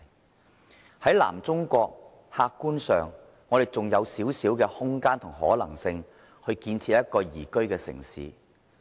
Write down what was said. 客觀上，我們身處的南中國還有少許空間及可能性，建設一個宜居的城市。